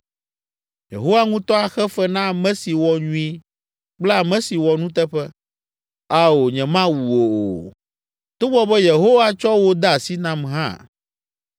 Yehowa ŋutɔ axe fe na ame si wɔ nyui kple ame si wɔ nuteƒe. Ao, nyemawu wò o, togbɔ be Yehowa tsɔ wò de asi nam hã.